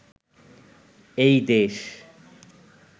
এই দেশ